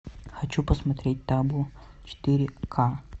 хочу посмотреть табу четыре к